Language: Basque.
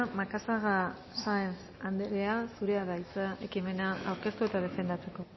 macazaga sáenz anderea zurea da hitza ekimena aurkeztu eta defendatzeko